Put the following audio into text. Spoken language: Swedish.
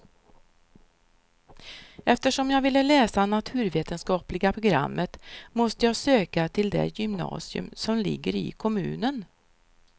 Eftersom jag ville läsa naturvetenskapliga programmet måste jag söka till det gymnasium som ligger i kommunen.